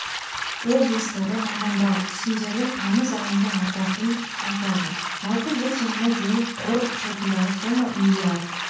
облыстары мамандар түсімдердің тамыз айында артатын айтады жалпы жыл соңына дейін қор шотындағы сомма миллиард